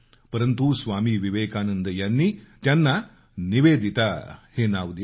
परंतु स्वामी विवेकानंद यांनी त्यांना निवेदिता हे नाव दिलं